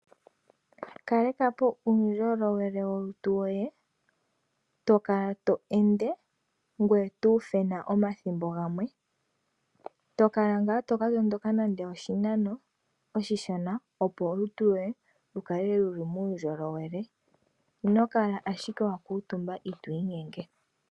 Kalekapo uundjolowele wolutu lwoye , tokala tweende ngoye tuufena omasiku gamwe . Tokala ngaa toka tondoka nande oshinano oshishona opo olutu lwoye lukale luna uundjowele , ino kala ashike wakuutumba itwiinyenge.